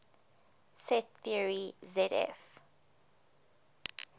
set theory zf